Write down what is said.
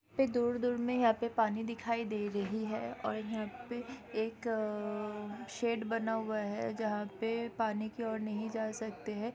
पे दूर दूर में यहाँ पे पानी दिखाई दे रही है और यहाँ पे एक शेड बना हुआ है जहा पे पानी की और नहीं जा सकते है।